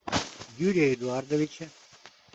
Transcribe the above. юрия эдуардовича